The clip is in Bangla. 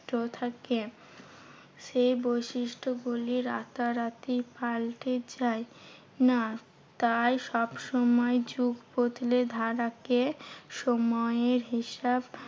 থাকে। সেই বৈশিষ্টগুলি রাতারাতি পাল্টে যায় না। তাই সবসময় যুগ বদলে ধারাকে সময়ের হিসাব